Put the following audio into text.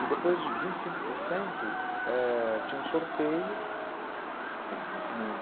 E depois, vinte e cinco por cento tinha um sorteio, não.